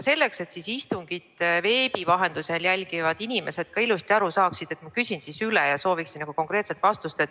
Selleks, et istungit veebi vahendusel jälgivad inimesed ka ilusti aru saaksid, ma küsin üle ja sooviksin konkreetset vastust.